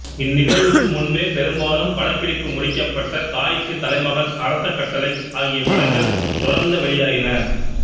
இந்நிகழ்வுக்கு முன்பே பெரும்பாலும் படப்பிடிப்பு முடிக்கப்பட்ட தாய்க்குத் தலைமகன் அரச கட்டளை ஆகிய படங்கள் தொடர்ந்த வெளியாயின